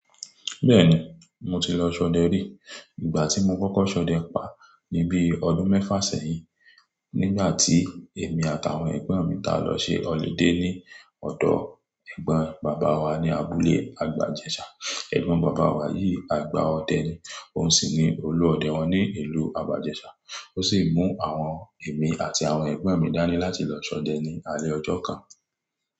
Bẹ́ẹ̀ni, mo ti lọ ṣọdẹ rí. Ìgbà tí mo kọ́kọ́ ṣọdẹ pa ní bí ọdún mẹ́fà sẹ́yìn, nígbà tí èmi àtàwọn ẹ̀gbọ́n mi ta lọ ṣe holiday ní ọ̀dọ̀ Ẹ̀gbọ́n bàbá wa ní abúlé Àgbàjẹ́ṣà. Ẹ̀gbọ́n bàbá wa yìí, àgbà ọdẹ ni. Òun sì ni olú ọdẹ wọn ní ìlú Àbàjẹ́ṣà. Ó sì mú àwọn èmi àti àwọn ẹ̀gbọ́n mi dání láti lọ ṣọdẹ ní alẹ́ ọjọ́ kan.